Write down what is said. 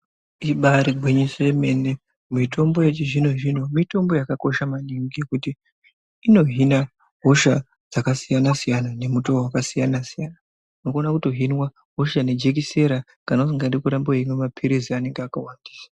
Ibari ngwinyiso yemene mitombo yechizvino zvino mitombo yakakosha maningi nekuti inohina hosha dzakasiyana siyana nemutoo vakasiyana siyana unogona kutohinwa hosha nejekesera kana usikadi kutamba weimwa mapirizi anenge akawandisa.